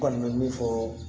N kɔni bɛ min fɔ